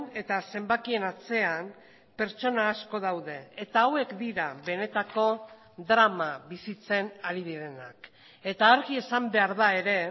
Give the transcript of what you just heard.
eta zenbakien atzean pertsona asko daude eta hauek dira benetako drama bizitzen ari direnak eta argi esan behar da ere